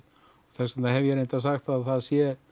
þess vegna hef ég líka sagt að það sé